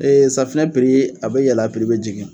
Ee safinɛ piri a be yɛlɛ a be jigin